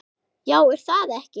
Já er það ekki?